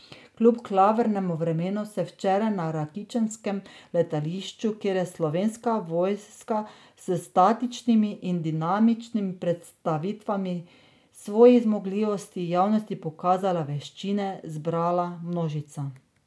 Kljub klavrnemu vremenu se je včeraj na rakičanskem letališču, kjer je Slovenska vojska s statičnimi in dinamičnimi predstavitvami svojih zmogljivosti javnosti pokazala veščine, zbrala množica.